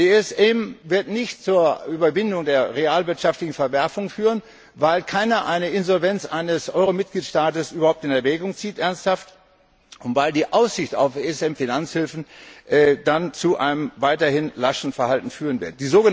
Der ESM wird nicht zur Überwindung der realwirtschaftlichen Verwerfungen führen, weil keiner eine Insolvenz eines Euro Mitgliedstaates überhaupt ernsthaft in Erwägung zieht und weil die Aussicht auf ESM Finanzhilfen dann zu einem weiterhin laschen Verhalten führen wird.